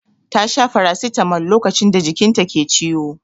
Ta sha farasitamol lokacin da jikin ta ke ciwo.